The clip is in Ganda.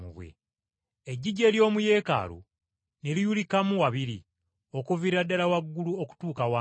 Eggigi ery’omu Yeekaalu ne liyulikamu wabiri okuviira ddala waggulu okutuuka wansi.